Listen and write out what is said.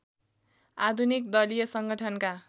आधुनिक दलीय संगठनका